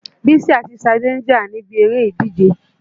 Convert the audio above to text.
Bísí àti Ṣadé ń jà níbi eré ìdíje.